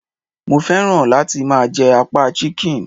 Mo féràn láti máa je apá Chicken